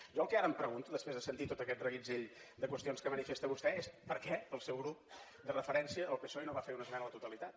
jo el que ara em pregunto després de sentir tot aquest reguitzell de qüestions que manifesta vostè és per què el seu grup de referència el psoe no va fer una esmena a la totalitat